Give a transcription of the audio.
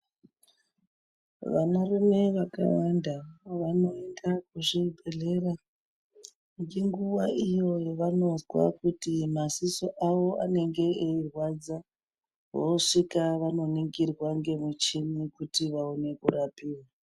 Vana rume vakawanda vanoenda kuzvibhedhlera ngenguva iyo yevanozwa kuti maziso avo anenge eirwadza vosvika vanoningirwa nemichini kuti vaone kurapiwa.